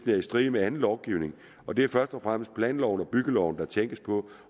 er i strid med anden lovgivning og det er først og fremmest planloven og byggeloven der tænkes på